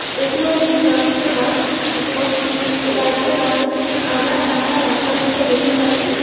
এইটি হলো একটি ড্র্যান্স এর ক্লাস । এবং এই ডান্স এর ক্লাস -এ আমরা চারটা বাচ্চা মেয়েকে দেখতে পাচ্ছি।